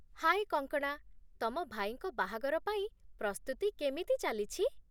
ହାଏ କଙ୍କଣା! ତମ ଭାଇଙ୍କ ବାହାଘର ପାଇଁ ପ୍ରସ୍ତୁତି କେମିତି ଚାଲିଛି?